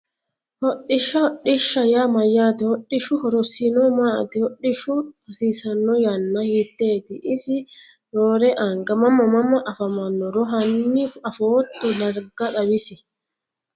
Hodhishsha hodhishsha yaa mayaate hodhishu horosino maati hodhishu hasiisano yana hiiteeti isi roore anga mama mama afamanoro hani afooto darga xawisi.